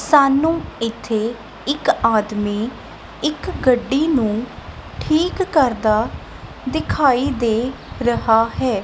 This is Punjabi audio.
ਸਾਨੂੰ ਇੱਥੇ ਇੱਕ ਆਦਮੀ ਇੱਕ ਗੱਡੀ ਨੂੰ ਠੀਕ ਕਰਦਾ ਦਿਖਾਈ ਦੇ ਰਿਹਾ ਹੈ।